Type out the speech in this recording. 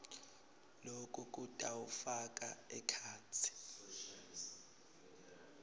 loku kutawufaka ekhatsi